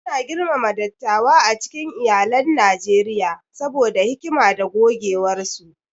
Ana girmama dattawa a cikin iyalan Najeriya saboda hikima da gogewarsu.